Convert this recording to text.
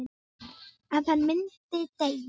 Að hann myndi deyja.